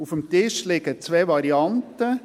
Auf dem Tisch liegen zwei Varianten: